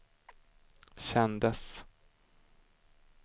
kändes